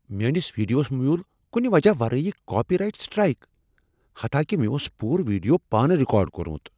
میٲنس ویڈیوس میول کُنہِ وجہ ورٲے کاپی رائٹ سٹرائیک۔ حتاکِہ مےٚ اوس پوٗرٕ ویڈیو پانہٕ رکارڈ کوٚرمت۔